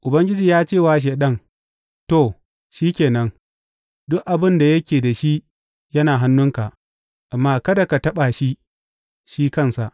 Ubangiji ya ce wa Shaiɗan, To, shi ke nan, duk abin da yake da shi yana hannunka, amma kada ka taɓa shi, shi kansa.